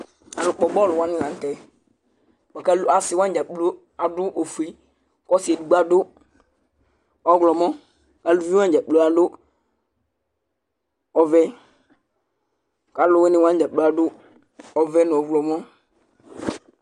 Alʋkpɔ bɔlʋ wanɩ la nʋ tɛ bʋa kʋ al asɩ wanɩ dza kplo adʋ ofue Ɔsɩ edigbo adʋ ɔɣlɔmɔ kʋ aluvi wanɩ dza kplo adʋ u ɔvɛ kʋ alʋwɩnɩ dza kplo adʋ ɔvɛ nʋ ɔɣlɔmɔ